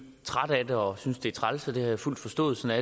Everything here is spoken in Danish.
trætte af det og synes det er træls og det har jeg fuld forståelse